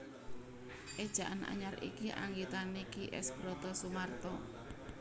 Éjaan Anyar iki anggitané Ki S Brotosumarto